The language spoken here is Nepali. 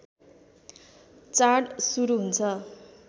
चाड सुरु हुन्छ